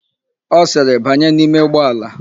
Ọ sịrị, "banye n'ime ụgbọala"!